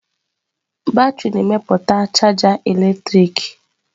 Batrị na-emepụta chaja eletrik.